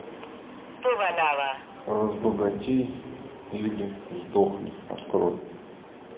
разбогатей или сдохни открой